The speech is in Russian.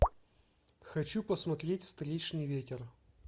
хочу посмотреть встречный ветер